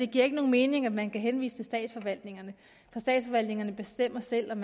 giver nogen mening at man kan henvise til statsforvaltningerne for statsforvaltningerne bestemmer selv om